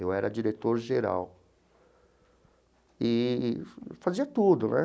Eu era diretor geral eee fazia tudo né.